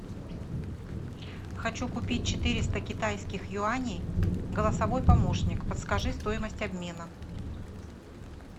хочу купить четыреста китайских юаней голосовой помощник подскажи стоимость обмена